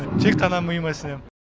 тек қана миыма сенем